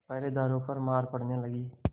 पहरेदारों पर मार पड़ने लगी